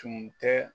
Tun tɛ